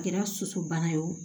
A kɛra sosobana ye o